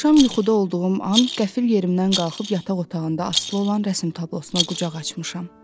Axşam yuxuda olduğum an qəfil yerimdən qalxıb yataq otağında asılı olan rəsm tablosuna qucaq açmışam.